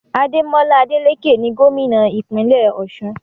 Ademola Adeleke ni gómìnà ìpínlẹ̀ Ọ̀ṣun